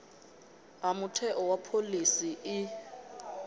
ha mutheo wa phoḽisi i